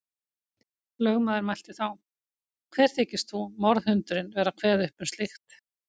Lögmaður mælti þá: Hver þykist þú, morðhundurinn, vera að kveða upp um slíkt.